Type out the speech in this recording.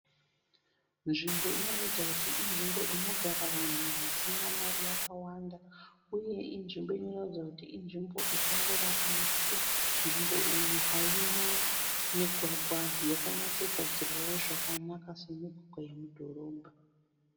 Nzvimbo inoratidza kuti inzvimbo inogara vanhu vasina mari yakawanda, uye inzvimbo inoratidza kuti inzvimbo ichangovakwa nekuti nzvimbo iyi haina migwagwa yakanyatsogadzirwawo zvakanaka semigwagwa yemudhorobha.